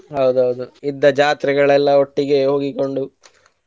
ಹೌದ ಹೌದು ಇದ್ದ ಜಾತ್ರೆಗಳೆಲ್ಲಾ ಒಟ್ಟಿಗೆ ಹೋಗಿಕೊಂಡು.